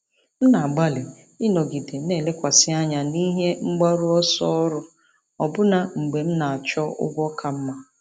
M na-agbalị ịnọgide na-elekwasị anya n'ihe mgbaru ọsọ ọrụ ọbụna mgbe m na-achọ ụgwọ ka mma.